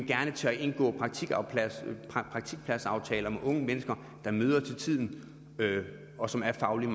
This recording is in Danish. gerne tør indgå praktikpladsaftaler med unge mennesker som møder til tiden og som er fagligt